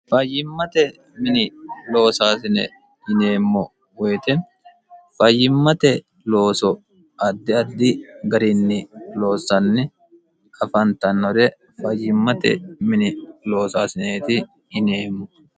fayyimmate mini loosaasine yineemmo woyite fayyimmate looso addi addi gariinni loossanni afantannore fayyimmate mini loosaasineeti yineemmo